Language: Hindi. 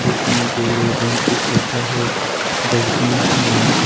बैठने के लिए बेंचेज रखा है डस्टबिन है।